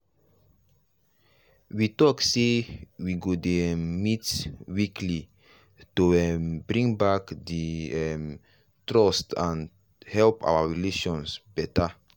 we talk say we go dey um met weekly to um bring back the um trust and help our relations better.